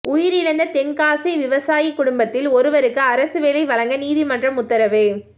உயிரிழந்த தென்காசி விவசாயி குடும்பத்தில் ஒருவருக்கு அரசு வேலை வழங்க நீதிமன்றம் உத்தரவு